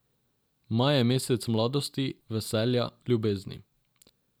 Maj je mesec mladosti, veselja, ljubezni.